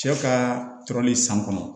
Cɛ ka tɔrɔli san kɔnɔ